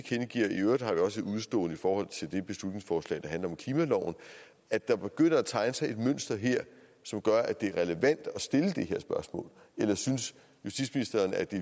i øvrigt har vi også et udestående i forhold til det beslutningsforslag der handler om klimaloven og at der begynder at tegne sig et mønster her som gør at det er relevant at stille det her spørgsmål eller synes justitsministeren at det